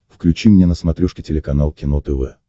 включи мне на смотрешке телеканал кино тв